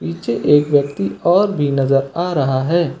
नीचे एक व्यक्ति और भी नजर आ रहा है।